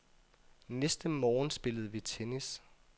Næste morgen spillede vi tennis.